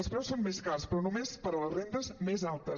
els preus són més cars però només per a les rendes més altes